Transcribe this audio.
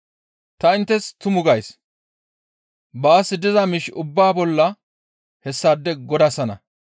Ta inttes tumu gays; baas diza miish ubbaa bolla hessaade godasana.